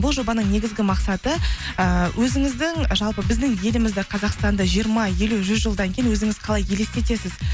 бұл жобаның негізгі мақсаты ыыы өзіңіздің жалпы біздің елімізді қазақстанды жиырма елу жүз жылдан кейін өзіңіз қалай елестетесіз